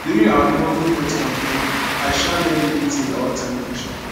during our neighborhood health campaign i um learn many things about sanitation